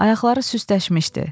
Ayaqları süstləşmişdi.